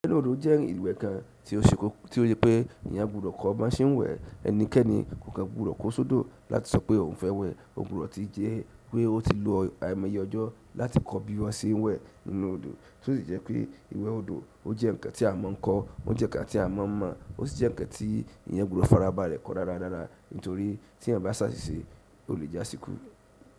Ìwé odò jẹ́ ìwé kan tí ó ṣe pé ènìyàn gbudò kọ́ bi won se wẹ̀ ẹnikẹ́ni kò kàn gbudò kó sódò láti sọ pé òun fẹ́ wẹ̀, ó gbudò ti jẹ́ pé ó ti lo àmo ye ọjọ́ láti kọ́ bí wọ́n ṣe ń wẹ̀ nínú odò, tósí jẹ́ pé ìwẹ́ odò ó jẹ́ ǹkan tí a máa ń kọ́, ó jẹ́ ǹkan tí a máa ń mọ̀, ó sì jẹ́ ǹkan tí ènìyàn gbudò farabalẹ̀ kọ́ dáradára, nítorí tí ẹyan bá sásísé, ò lè jásikú.